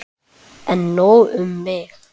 En nóg um mig.